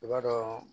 I b'a dɔn